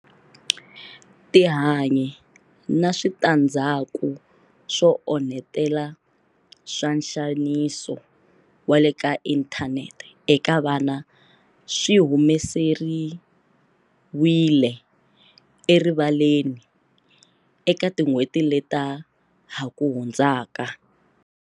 Tihanyi na switandzhaku swo onhetela swa nxaniso wa le ka inthanete eka vana swi humeseriwile erivaleni eka tin'hweti leta ha ku hundzaka.